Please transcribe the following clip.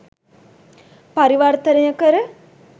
පරිවර්තනය කර